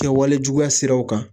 Kɛwalejuguya siraw kan.